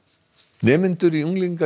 nemendur í unglingadeild